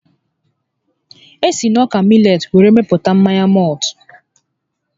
E si n'ọka milet were mepụta mmanya mọltụ